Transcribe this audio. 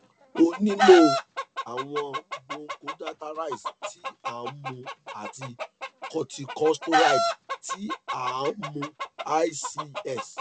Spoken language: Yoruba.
o le nilo awọn bronchodilateres ti a nmu ati corticosteroid ti a a nmu ics